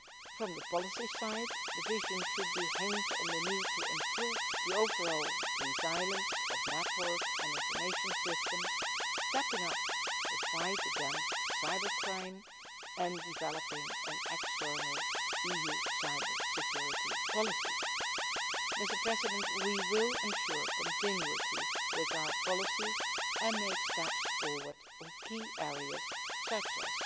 EU. From the policy side, the vision should hinge on the need to improve the overall resilience of network and information systems, stepping up the fight against cybercrime, and developing an external EU cyber security policy. We will ensure continuity with our policies and make steps forward on key areas such